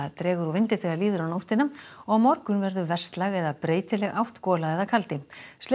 dregur úr vindi þegar líður á nóttina og á morgun verður eða breytileg átt gola eða kaldi